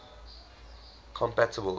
compatibles